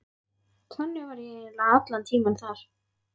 Þannig var ég eiginlega allan tímann þar.